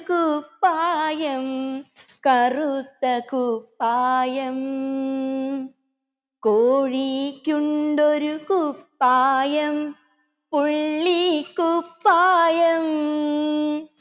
കുപ്പായം കറുത്ത കുപ്പായം കോഴിക്കുണ്ടൊരു കുപ്പായം പുള്ളിക്കുപ്പായം